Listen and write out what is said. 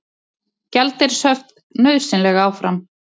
Gjaldeyrishöft nauðsynleg áfram